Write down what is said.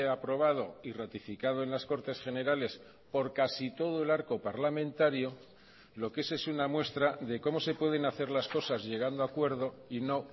aprobado y ratificado en las cortes generales por casi todo el arco parlamentario lo que es es una muestra de cómo se pueden hacer las cosas llegando a acuerdo y no